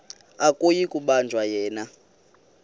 akuyi kubanjwa yena